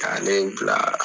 K'ale bila